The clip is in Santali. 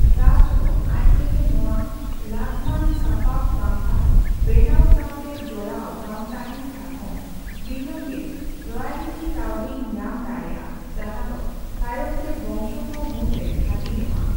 ᱴᱮᱨᱟᱥᱴ ᱫᱚ ᱟᱡ ᱛᱮᱜᱮ ᱱᱚᱣᱟ ᱞᱟᱹᱜᱢᱟᱱ ᱥᱟᱯᱟᱵ ᱵᱟᱝᱠᱷᱟᱱ ᱵᱮᱱᱟᱣ ᱥᱟᱣᱛᱮ ᱡᱚᱲᱟᱣ ᱵᱟᱝ ᱛᱟᱦᱮᱱ ᱠᱷᱟᱱ ᱦᱚᱸ ᱫᱤᱱᱟᱹᱢᱜᱮ ᱨᱚᱭᱟᱞᱤᱴᱤ ᱠᱟᱹᱣᱰᱤᱭ ᱧᱟᱢ ᱫᱟᱲᱮᱭᱟᱜᱼᱟ ᱡᱟᱦᱟ ᱫᱚ ᱛᱟᱭᱚᱢᱛᱮ ᱵᱚᱝᱥᱚ ᱠᱚ ᱢᱩᱫᱽ ᱨᱮ ᱦᱟᱹᱴᱤᱧᱚᱜᱼᱟ ᱾